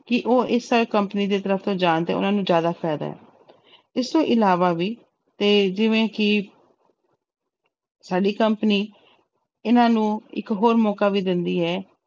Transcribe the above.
ਕਿ ਉਹ ਇਸ company ਦੀ ਤਰਫ਼ ਤੋਂ ਜਾਣ ਤੇ ਉਹਨਾਂ ਨੂੰ ਜ਼ਿਆਦਾ ਫ਼ਾਇਦਾ ਹੈ ਇਸ ਤੋਂ ਇਲਾਵਾ ਵੀ ਤੇ ਜਿਵੇਂ ਕਿ ਸਾਡੀ company ਇਹਨਾਂ ਨੂੰ ਇੱਕ ਹੋਰ ਮੌਕਾ ਵੀ ਦਿੰਦੀ ਹੈ,